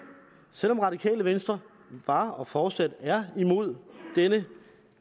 selv om radikale venstre var og fortsat er imod denne